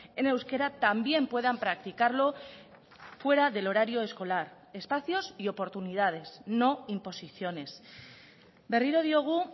en euskera también puedan practicarlo fuera del horario escolar espacios y oportunidades no imposiciones berriro diogu